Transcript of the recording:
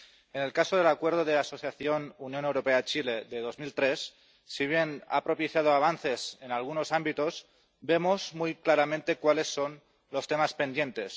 En el caso del Acuerdo de Asociación Unión Europea Chile de 2003, si bien ha propiciado avances en algunos ámbitos, vemos muy claramente cuáles son los temas pendientes.